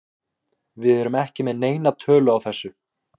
Við erum ekki með neina tölu á þessu.